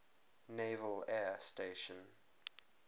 naval air station